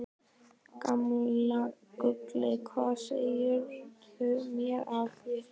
Gamla gullið, hvað segirðu mér af þér?